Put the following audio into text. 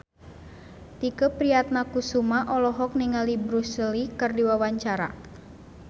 Tike Priatnakusuma olohok ningali Bruce Lee keur diwawancara